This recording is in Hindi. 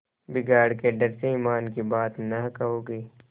बिगाड़ के डर से ईमान की बात न कहोगे